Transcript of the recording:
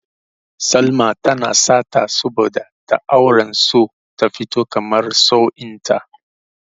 Salma tana sata saboda tana auren so ta fito kamar sa'o'in ta.